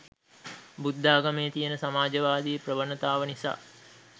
බුද්ධාගමේ තියෙන සමාජවාදී ප්‍රවණතාව නිසා